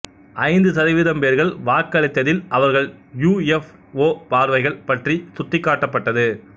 ஐந்து சதவீதம் பேர்கள் வாக்களித்ததில் அவர்கள் யுஎஃப்ஒ பார்வைகள் பற்றி சுட்டிக்காட்டப்பட்டது